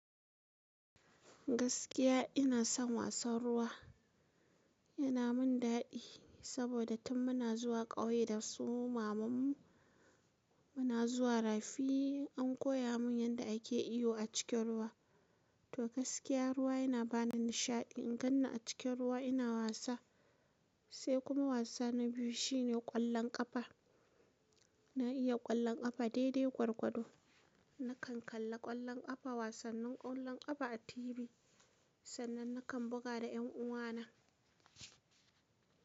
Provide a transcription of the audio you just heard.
Gaskiya ina son wasan ruwa. Yana min daɗi saboda tun muna zuwa ƙauye da suma mu muna zuwa rafi an koya mun yadda ake iyo a cikin ruwa. To gaskiya ruwa yana bani nishaɗi. In ganni a cikin ruwa ina wasa. Sai kuma wasa na biyu shine ƙwallon ƙafa. Na iya ƙwallon ƙafa daidai gwargwado. Nakan kalla ƙwallon ƙafa wasannin ƙwallon ƙafa a tibi. Sannan nakan buga da yan uwa na.